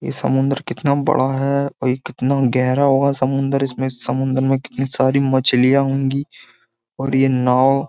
ये समुंदर कितना बड़ा है और ये कितना गहरा होगा समुंदर इसमें समुंदर में कितनी सारी मछलियां होंगी और ये नाव --